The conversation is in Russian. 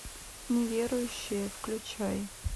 неверующие включай